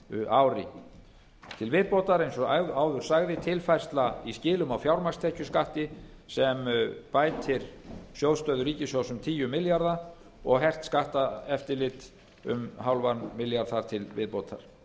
ári til viðbótar eins og áður sagði tilfærsla í skilum á fjármagnstekjuskatti sem bætir sjóðsstöðu ríkissjóð um tíu milljarða og hert skatteftirlit um hálfan milljarð þar til viðbótar